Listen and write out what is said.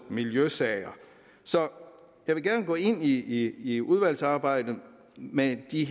miljøsager så jeg vil gerne gå ind i i udvalgsarbejdet med de